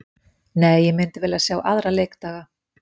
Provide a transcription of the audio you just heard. Nei, ég myndi vilja sjá aðra leikdaga.